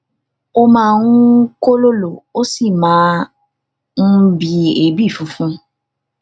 ó máa ń kólòlò ó sì máa ń bi ebi funfun